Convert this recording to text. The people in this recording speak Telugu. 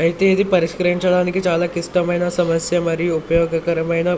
అయితే ఇది పరిష్కరించడానికి చాలా క్లిష్టమైన సమస్య మరియు ఉపయోగకరమైన